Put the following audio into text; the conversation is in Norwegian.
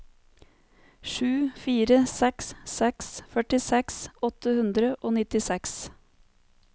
sju fire seks seks førtiseks åtte hundre og nittiseks